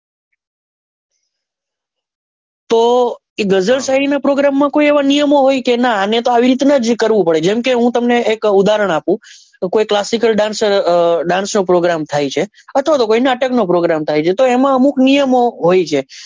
તો આ ગઝલ શાયરી નાં program માં કોઈ એવા નિયમો હોય કે નાં અને તો આવી રીત નાં જ કરવું પડે જેમ કે હું તમને એક ઉદાહરણ આપું classical dance program થાય છે અથવા તો કોઈ નાટક નો program થાય છે.